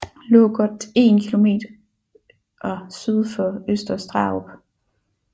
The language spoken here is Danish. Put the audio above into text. Lå godt 1 km syd for Øster Starup